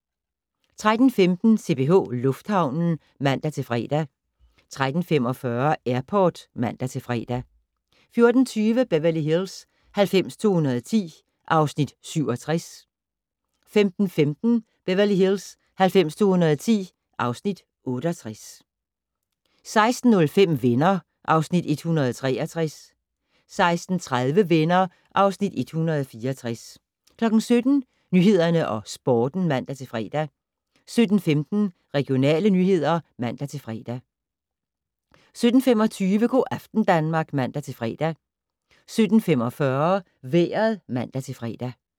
13:15: CPH Lufthavnen (man-fre) 13:45: Airport (man-fre) 14:20: Beverly Hills 90210 (Afs. 67) 15:15: Beverly Hills 90210 (Afs. 68) 16:05: Venner (Afs. 163) 16:30: Venner (Afs. 164) 17:00: Nyhederne og Sporten (man-fre) 17:15: Regionale nyheder (man-fre) 17:25: Go' aften Danmark (man-fre) 17:45: Vejret (man-fre)